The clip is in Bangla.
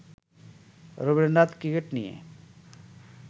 রবীন্দ্রনাথ ক্রিকেট নিয়ে